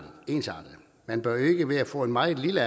man bør jo ikke ved at få en meget lille